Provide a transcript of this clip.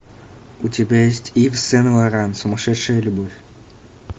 у тебя есть ив сен лоран сумасшедшая любовь